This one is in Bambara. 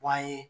Wa ye